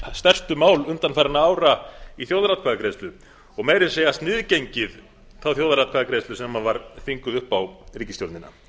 stærstu mál undanfarinna ára í þjóðaratkvæðagreiðslu og meira að segja sniðgengið þá þjóðaratkvæðagreiðslu sem var þvinguð upp á ríkisstjórnina